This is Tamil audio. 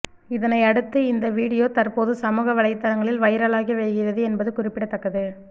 இதனை அடுத்து இந்த வீடியோ தற்போது சமூக வலைதளங்களில் வைரலாகி வருகிறது என்பது குறிப்பிடத்தக்கது